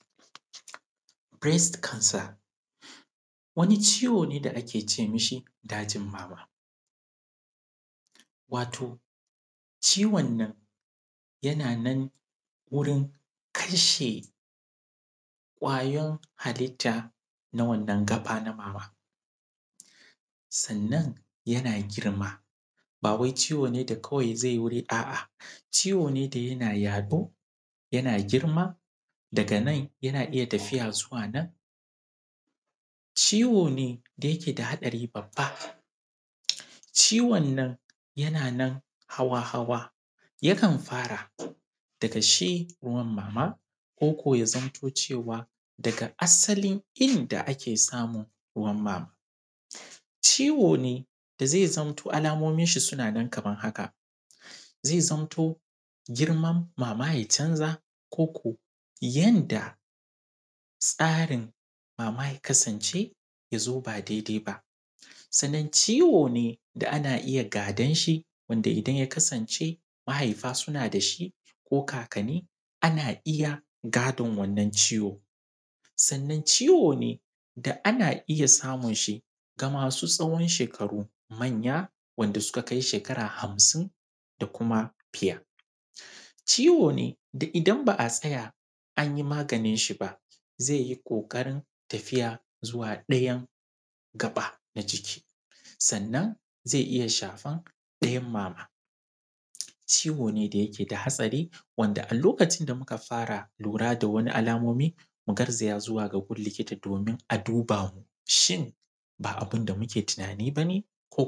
Hanyoyin juriya ga ɗan’Adam yana da kyau a kullun ɗan’Adam ya zamto cewa yana da wani dubaru ta yanda zai jure wuya ko ya jure wahala, a lokuta da dama ɗan’Adam na iya haɗa abu su yi ma kwakwalwan shi yawa amma akwai dabaru ta hanyan da zai bi domin ya jure wannan abun koko ya magance shi. Akwai hanyoyin magance damuwa a lokacin da kake shiga damuwa ko kuma ka ji nan da nan kana tunanin abun da bai kamata ba ko kuma ka ji kana ƙoƙarin cutar da kanka ko ka cuta da abubuwan da kake da su masu amfani, yana da kyau ka yi ƙoƙarin tunanin meye ya kawo maka wannan abun? Za ka iya kawar da shi take ko za ka iya ƙoƙarin magance zafin abun a lokacin da ka tsaya? Wannan tunanin zai baka daman cewa a inda matsalan take sannan ta yanda za ka yi ka gyara idan ka samu wannan abun. To, ka samu dabaran ta yanda za ka jure? A hankali zai zamto cewa kwakwalwanka tana samun tunani mai kyau, tana samun hutu, sanna tana samun abun da ya kamata, amma a lokacin da ka maida kwakwalwanka ta zamto cewa ta samu damuwa, abubuwa sun mata yawa to fa wanda hakan juriyan shi ke da wuya, amma juriya yana da kyau sannan ta hanya mai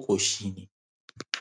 kyau za ka magance hakan.